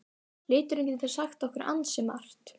Liturinn getur sagt okkur ansi margt.